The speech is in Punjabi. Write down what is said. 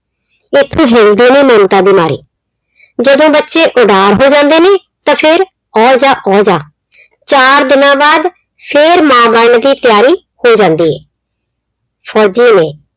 ਇੱਕ ਹੁੰਦੇ ਨੇ ਮਮਤਾ ਦੇ ਮਾਰੇ। ਜਦੋਂ ਬੱਚੇ ਉਡਾਰ ਹੋ ਜਾਂਦੇ ਨੇ ਤਾਂ ਫਿਰ ਔ ਜਾ ਔ ਜਾ। ਚਾਰ ਦਿਨਾਂ ਬਾਅਦ ਫਿਰ ਮਾਂ ਬਣਨ ਦੀ ਤਿਆਰੀ ਹੋ ਜਾਂਦੀ ਏ। ਫੌਜੀ ਨੇ